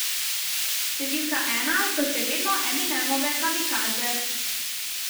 Številka ena so še vedno Eminemove Kamikaze.